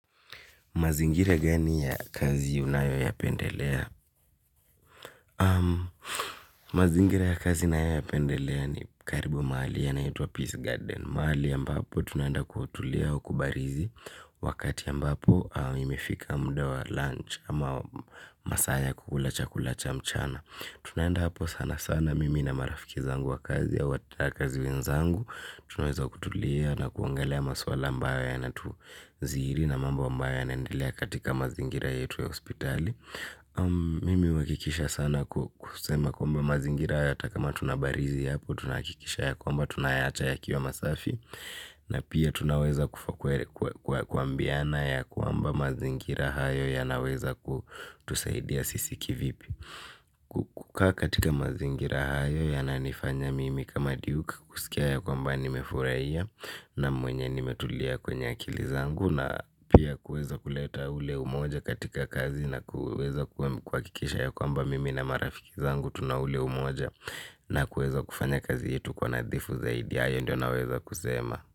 Mazingira gani ya kazi unayo ya pendelea? Mazingira ya kazi ninayo yapendelea ni karibu mahali yanaitwa Peace Garden. Mahali ambapo tunaenda kutulia au kubarizi wakati ambapo imefika muda wa lunch ama masaa ya kukula chakula cha mchana. Tunaenda hapo sana sana mimi na marafiki zangu wa kazi au wafanyakazi wenzangu. Tunaweza kutulia na kuangalia maswala ambayo yanatu zidi na mambo ambayo yanaendelea katika mazingira yetu ya hospitali. Mimi huhakikisha sana kusema kwamba mazingira hata kama tunabarizi hapo tunahakikisha ya kwamba tunayaacha yakiwa masafi. Na pia tunaweza kuambiana ya kwamba mazingira hayo yanaweza kutusaidia sisi kivipi kukaa katika mazingira hayo yananifanya mimi kama duke kuskia kwamba nimefurahia na mwenye nimetulia kwenye akili zangu na pia kuweza ile umoja katika kazi na kuweza kuhakikisha kwamba mimi na marafiki zangu tuna ile umoja na kuweza kufanya kazi yetu kwa nadhifu zaidi. Hayo ndio naweza kusema.